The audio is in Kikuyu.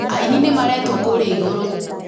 Aini nĩ maretwo kurĩa igũrũ